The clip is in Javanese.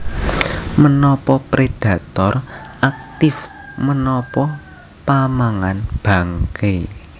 Menapa Predator aktif menapa pamangan bangke